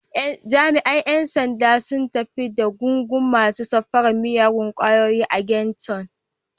Jami’an ‘yan sandan sun tafi da gungun masu safarar miyagun kwayoyi a Ghetto.